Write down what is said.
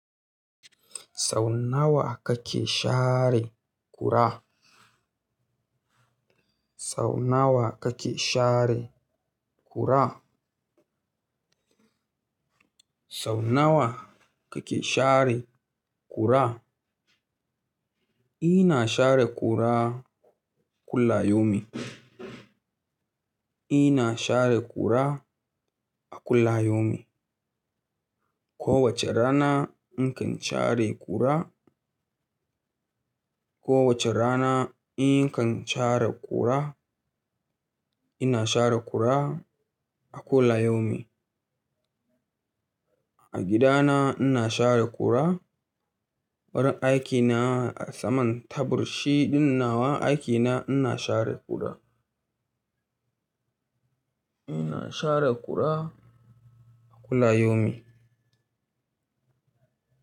Sau nawa kake share ƙura? Sau nawa kake share ƙura? Sau nawa kake share ƙura? Ina share ƙura kulla yaumin. Ina share ƙura a kulla yaumin. Kowace rana nakan share ƙura, kowace rana inkan share ƙura. Ina share ƙura a kullayomi. A gidana ina share ƙura. Wurin aikina saman tabur shi ɗin nawa aikina ina share ƙura. Ina share ƙura a kullayomi.